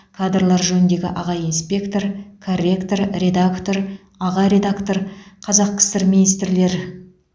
кадрлар жөніндегі аға инспектор корректор редактор аға редактор қазақ кср министрлер